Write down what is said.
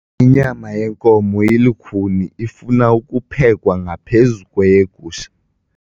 Inyama yenkomo ilukhuni ifuna ukuphekwa ngaphezu kweyegusha.